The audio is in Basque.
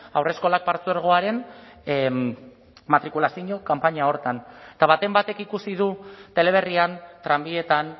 haurreskolak partzuergoaren matrikulazio kanpaina horretan eta baten batek ikusi du teleberrian tranbietan